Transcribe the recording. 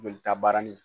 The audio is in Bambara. Jolita baara ni